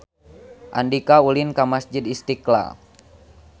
Andika ulin ka Masjid Istiqlal